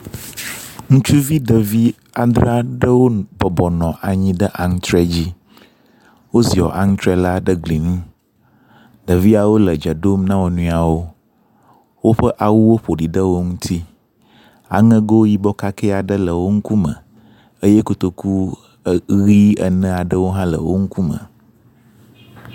Ŋutsuvi ɖevi adre aɖewo wobɔbɔ nɔ anyi ɖe antre dzi, woziɔ antre la ɖe gli ŋu. Ɖeviawo le dze ɖom na wo nɔeawo, woƒe awuwo ƒo ɖi ɖe wo ŋuti, aŋego yibɔ kake aɖe le wo ŋkume eye kotoku ʋɛ̃ ene aɖewo hã le wo ŋkume.